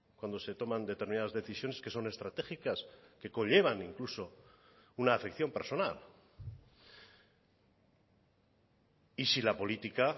cuando se toman determinadas decisiones que son estratégicas que conllevan incluso una afección personal y si la política